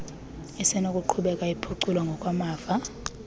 isenokuqhubeka iphuculwa ngokwamava